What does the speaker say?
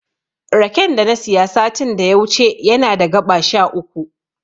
Raken da na siya satin da ya wuce yana da gaɓa sha uku.